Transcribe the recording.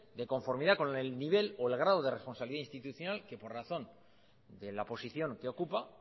de conformidad con el nivel o el grado de responsabilidad institucional que por razón de la posición que ocupa